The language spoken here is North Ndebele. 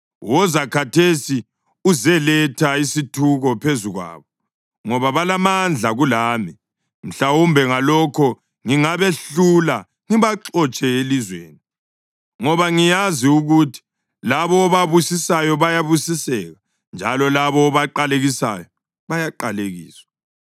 Woza khathesi uzeletha isithuko phezu kwabo, ngoba balamandla kulami. Mhlawumbe ngalokho ngingabehlula ngibaxotshe elizweni. Ngoba ngiyazi ukuthi labo obabusisayo bayabusiseka, njalo labo obaqalekisayo bayaqalekiswa.”